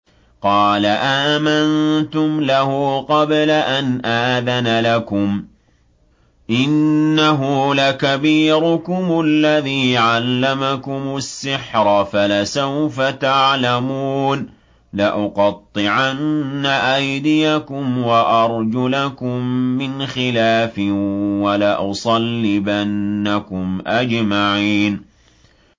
قَالَ آمَنتُمْ لَهُ قَبْلَ أَنْ آذَنَ لَكُمْ ۖ إِنَّهُ لَكَبِيرُكُمُ الَّذِي عَلَّمَكُمُ السِّحْرَ فَلَسَوْفَ تَعْلَمُونَ ۚ لَأُقَطِّعَنَّ أَيْدِيَكُمْ وَأَرْجُلَكُم مِّنْ خِلَافٍ وَلَأُصَلِّبَنَّكُمْ أَجْمَعِينَ